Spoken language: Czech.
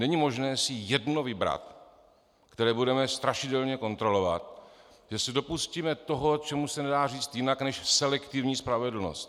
Není možné si jedno vybrat, které budeme strašidelně kontrolovat, že se dopustíme toho, čemu se nedá říct jinak než selektivní spravedlnost.